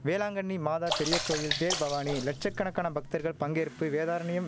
வேளாங்கண்ணி மாதா பெரிய கோயில் தேர்பவானி லட்ச கணக்கான பக்தர்கள் பங்கேற்பு வேதாரண்யம்